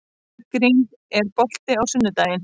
Bergrín, er bolti á sunnudaginn?